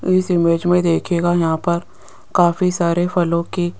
इस इमेज में देखिएगा यहां पर काफी सारे फलों की--